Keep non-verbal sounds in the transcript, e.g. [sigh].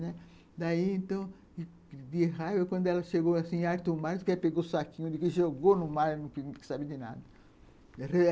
Daí, então, de raiva, quando ela chegou, assim, em alto o mar, ela pegou o saquinho e jogou no mar, não quis sabe de nada [unintelligible]